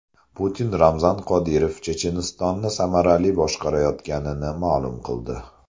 Putin Ramzan Qodirov Chechenistonni samarali boshqarayotganini ma’lum qildi .